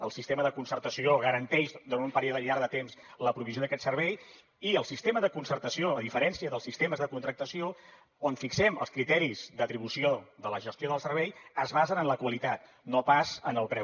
el sistema de concertació garanteix durant un període llarg de temps la provisió d’aquest servei i el sistema de concertació a diferència dels sistemes de contractació on fixem els criteris d’atribució de la gestió del servei es basen en la qualitat no pas en el preu